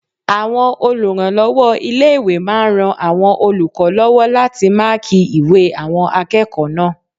Àwọn olùrànlọ́wọ́ ilé-ìwé máa n ran àwọn olùkọ́ lọ́wọ́ láti máàkí ìwé àwọn akẹ́kọ̀ọ́ náà